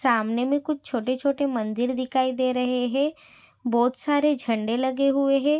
सामने में कुछ छोटे छोटे मंदिर दिखाई दे रहे है बहुत सारे झंडे लगे हुए है।